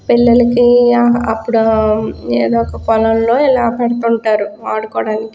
పిల్లకి అప్పుడు ఏదో ఒక పొలంలో ఇలా పెడుతుంటారు ఆడుకోడానికి.